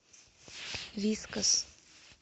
вискас